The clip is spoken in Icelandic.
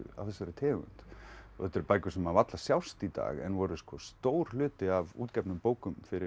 af þessari tegund og þetta eru bækur sem varla sjást í dag en voru sko stór hluti af útgefnum bókum fyrir